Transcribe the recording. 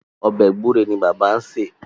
Ọbẹ̀ gbúre ni bàbá ń sè.